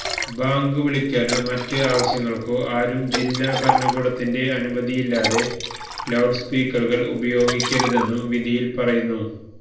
bank വിളിക്കാനോ മറ്റ് ആവശ്യങ്ങള്ക്കോ ആരും ജില്ലാ ഭരണകൂടത്തിന്റെ അനുമതിയില്ലാതെ ലൌഡ് സ്പീക്കറുകള് ഉപയോഗിക്കരുതെന്നും വിധിയില് പറയുന്നു